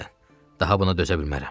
Daha buna dözə bilmərəm.